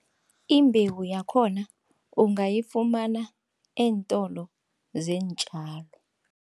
Imbewu yakhona ungayifumana eentolo zeentjalo.